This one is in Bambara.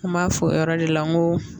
N b'a fɔ o yɔrɔ de la n ko